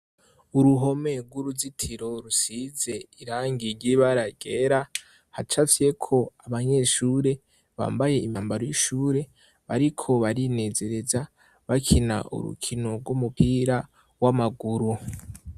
Uruhome rw'uruzitiro rusize irangigibaragera hacafyeko abanyeshure bambaye impambaro y'ishure bariko barinezereza bakina urukino rw'umupira w'amaguru.